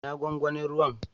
Ina gwangwanin ruwan?